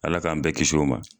Ala k'an bɛɛ kis'o ma